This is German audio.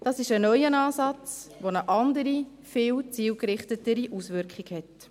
Das ist ein neuer Ansatz, der eine andere, viel zielgerichtetere Auswirkung hat.